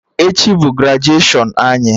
Echi bụ grajuashọn anyị